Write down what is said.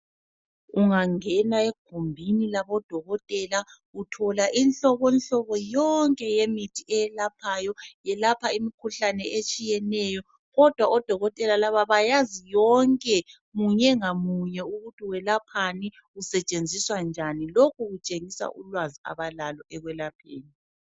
Ungangena egumbini labodokotela uthola inhlobonhlobo yonke yemithi eyelaphayo. Yelapha imikhuhlane etshiyeneyo kodwa odokotela laba bayazi yonke munye ngamunye ukuthi yelaphani, isetshenziswa njani. Lokhu kutshengisa ulwazi abalalo ekwelapheni.